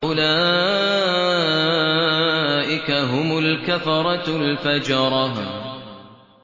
أُولَٰئِكَ هُمُ الْكَفَرَةُ الْفَجَرَةُ